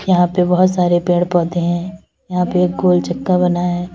यहां पे बहोत सारे पेड़ पौधे है यहाँ पे एक गोल चक्का बना है।